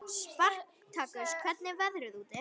Spartakus, hvernig er veðrið úti?